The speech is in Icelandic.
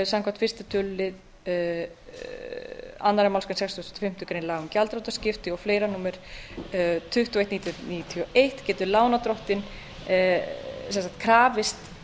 samkvæmt fyrsta tölulið annarri málsgrein sextugustu og fimmtu grein laga um gjaldþrotaskipti og fleira númer tuttugu og eitt nítján hundruð níutíu og einn getur lánardrottinn krafist